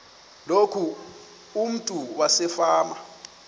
loku umntu wasefama